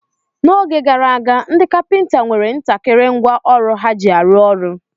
N'oge gara aga, ndị kapịnta nwere ntakịrị ngwa ọrụ ha ji arụ ọrụ.